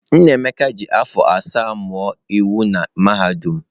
Nnaemeka ji afọ asaa mụọ iwu na mahadum.